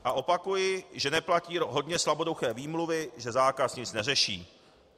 A opakuji, že neplatí hodně slaboduché výmluvy, že zákaz nic neřeší.